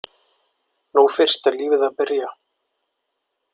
Nú fyrst er lífið að byrja!